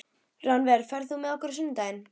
Rannver, ferð þú með okkur á sunnudaginn?